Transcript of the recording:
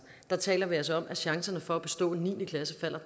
der taler vi altså om at chancerne for at bestå niende klasseprøven